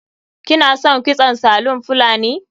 Kina son kitson salon fulani?